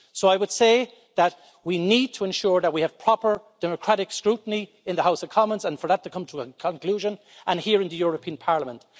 So I would say that we need to ensure that we have proper democratic scrutiny in the House of Commons and for that to come to a conclusion, and here in the European Parliament.